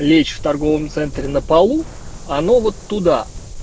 лечь в торговом центре на полу а оно вот туда